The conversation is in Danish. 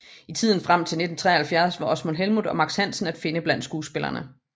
I tiden frem til 1973 var Osvald Helmuth og Max Hansen at finde blandt skuespillerne